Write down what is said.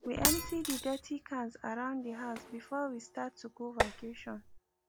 we empty de dirty cans around de house before we start to go vacation